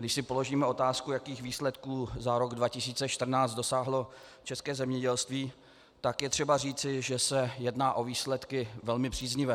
Když si položíme otázku, jakých výsledků za rok 2014 dosáhlo české zemědělství, tak je třeba říci, že se jedná o výsledky velmi příznivé.